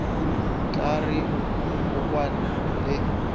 tla re o kwane le